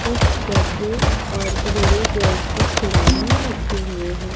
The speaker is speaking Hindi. कुछ गधे और घोड़े जैसे खिलौने रखे हुए हैं।